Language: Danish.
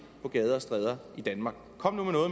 på gader og stræder i danmark kom nu